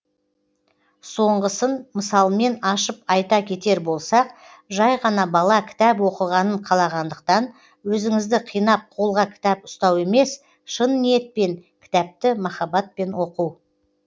соңғысын мысалмен ашып айта кетер болсақ жай ғана бала кітап оқығанын қалағандықтан өзіңізді қинап қолға кітап ұстау емес шын ниетпен кітапты махаббатпен оқу